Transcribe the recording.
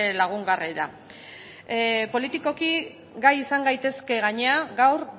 lagungarria da politikoki gai izan gaitezke gainera gaur